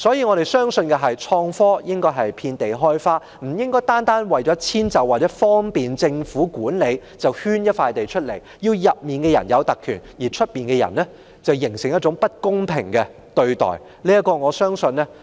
我們相信創科應該遍地開花，不應單純為了遷就和方便政府管理，就圈出一塊土地，讓裏面的人有特權，外面的人遭受不公平對待。